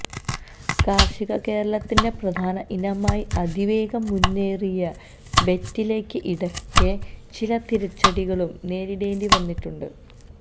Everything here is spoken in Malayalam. കാർഷിക കേരളത്തിന്റെ പ്രധാന ഇനമായി അതിവേഗം മുന്നേറിയ വെറ്റിലക്ക് ഇടക്ക് ചില തിരിച്ചടികളും നേരിടേണ്ടിവന്നിട്ടുണ്ട്